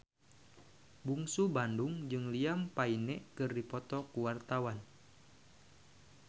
Bungsu Bandung jeung Liam Payne keur dipoto ku wartawan